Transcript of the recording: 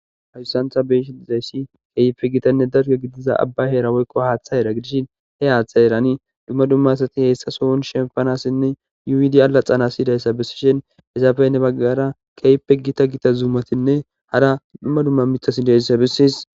Haysan ta be'ishe dizaysi kehipe gitane dalga gidiza abay Hera woyko hata hera gidishin he hata herani duma duma asati heysa sohoni shempanasine yuyidi alaxanas besishen izape heni bagara kehipe gita gita zamatine hara duma duma mitati diyaysa beses.